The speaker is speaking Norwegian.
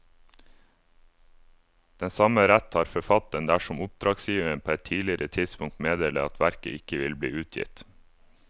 Den samme rett har forfatteren dersom oppdragsgiver på et tidligere tidspunkt meddeler at verket ikke vil bli utgitt.